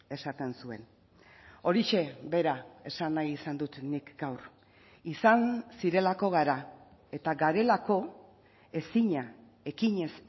esaten zuen horixe bera esan nahi izan dut nik gaur izan zirelako gara eta garelako ezina ekinez